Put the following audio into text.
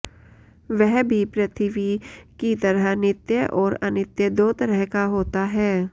वह भी पृथिवी की तरह नित्य और अनित्य दो तरह का होता है